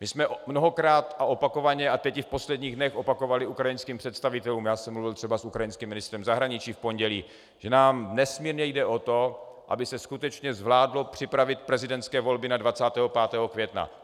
My jsme mnohokrát a opakovaně a teď i v posledních dnech opakovali ukrajinským představitelům, já jsem mluvil třeba s ukrajinským ministrem zahraničí v pondělí, že nám nesmírně jde o to, aby se skutečně zvládlo připravit prezidentské volby na 25. května.